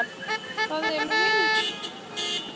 Það er hinum megin við húsið.